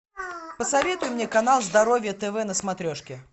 посоветуй мне канал здоровье тв на смотрешке